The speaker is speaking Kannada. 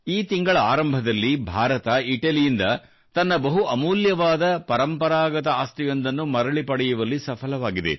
ಈ ತಿಂಗಳ ಆರಂಭದಲ್ಲಿ ಭಾರತ ಇಟಲಿಯಿಂದ ತನ್ನ ಬಹು ಅಮೂಲ್ಯವಾದ ಪರಂಪರಾಗತ ಆಸ್ತಿಯೊಂದನ್ನು ಮರಳಿ ಪಡೆಯುವಲ್ಲಿ ಸಫಲವಾಗಿದೆ